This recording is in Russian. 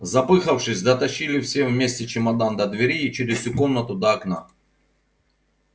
запыхавшись дотащили все вместе чемодан до двери и через всю комнату до окна